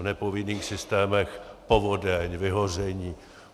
V nepovinných systémech povodeň, vyhoření.